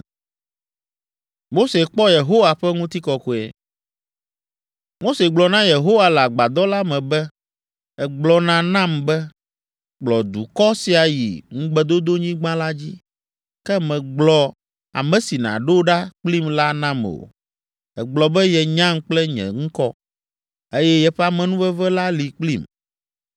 Mose gblɔ na Yehowa le agbadɔ la me be, “Ègblɔna nam be, ‘Kplɔ dukɔ sia yi Ŋugbedodonyigba la dzi.’ Ke mègblɔ ame si nàɖo ɖa kplim la nam o. Ègblɔ be yenyam kple nye ŋkɔ, eye yeƒe amenuveve la li kplim.